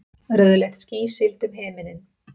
Rauðleitt ský sigldi um himininn.